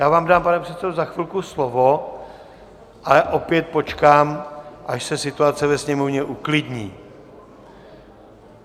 Já vám dám, pane předsedo, za chvilku slovo, ale opět počkám, až se situace ve Sněmovně uklidní.